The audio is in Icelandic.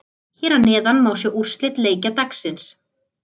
Hér að neðan má sjá úrslit leikja dagsins.